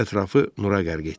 Ətrafı nura qərq etdi.